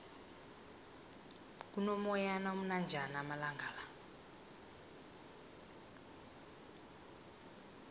kuno moyana omnanjana amalangala